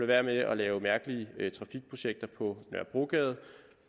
være med at lave mærkelige trafikprojekter på nørrebrogade